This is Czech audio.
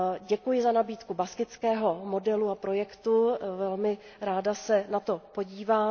Děkuji za nabídku baskického modelu a projektu, velmi ráda se na to podívám.